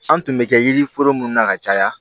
An tun bɛ kɛ yiri foro minnu na ka caya